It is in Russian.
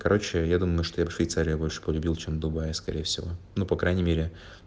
короче я думаю что я б швейцарию больше полюбил чем дубай скорее всего ну по крайней мере